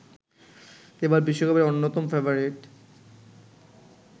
এবার বিশ্বকাপের অন্যতম ফেবারিট